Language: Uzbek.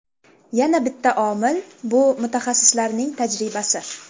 Yana bitta omil – bu mutaxassislarning tajribasi.